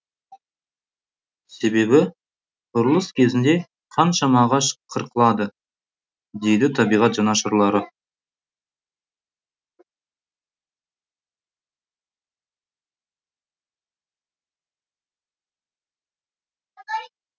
себебі құрылыс кезінде қаншама ағаш қырқылады дейді табиғат жанашырлары